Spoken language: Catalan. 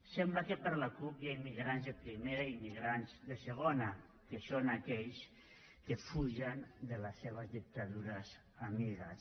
sembla que per la cup hi ha immigrants de primera i immigrants de segona que són aquells que fugen de les seves dictadures amigues